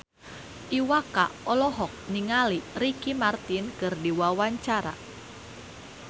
Iwa K olohok ningali Ricky Martin keur diwawancara